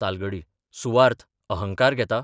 तालगडी सुवार्त अहंकार घेता?